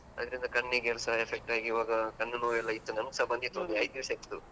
ಅದರಿಂದ ಕಣ್ಣಿಗೆಸ effect ಆಗಿ ಇವಾಗ ಕಣ್ಣು ನೋವು ಎಲ್ಲಾ ಇತ್ತು ನಮ್ಗೆಸ ಬಂದಿತ್ತು ಒಂದು ಐದು ದಿವಸ ಇತ್ತು.